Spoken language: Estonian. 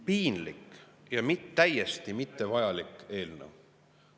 Piinlik ja täiesti mittevajalik eelnõu!